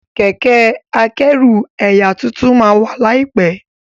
Kẹ̀kẹ́ akẹ́rù ẹyà títún má wá laipẹ